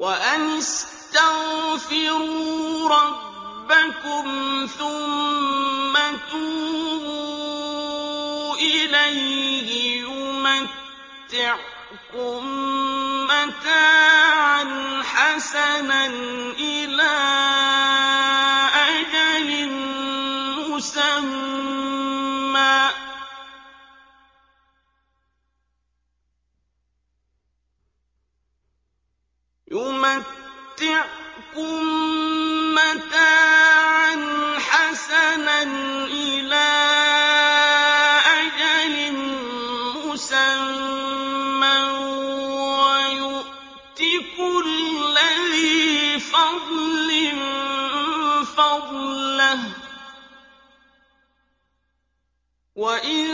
وَأَنِ اسْتَغْفِرُوا رَبَّكُمْ ثُمَّ تُوبُوا إِلَيْهِ يُمَتِّعْكُم مَّتَاعًا حَسَنًا إِلَىٰ أَجَلٍ مُّسَمًّى وَيُؤْتِ كُلَّ ذِي فَضْلٍ فَضْلَهُ ۖ وَإِن